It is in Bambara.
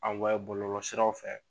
bɔlɔlɔ siraw fɛ